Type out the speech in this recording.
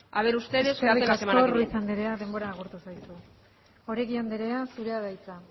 a ver ustedes que hacen la semana que viene eskerrik asko ruiz anderea denbora agortu zaizu oregi anderea zurea da hitza